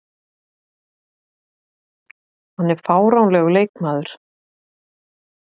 Hann er fáránlegur leikmaður.